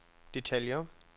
detaljer